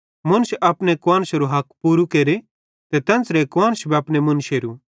मुन्श अपने कुआन्शरू हक पूरू केरे ते तेन्च़रे कुआन्श भी अपने मुन्शेरू